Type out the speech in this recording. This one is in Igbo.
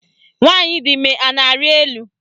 Nwaanyị di ime a na-arị elu?